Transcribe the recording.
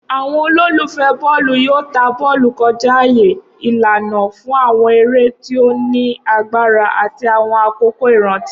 Awọn ololufẹ bọọlu yoo ta bọọlu kọja aaye, ilana fun awọn ere ti o ni agbara ati awọn akoko iranti.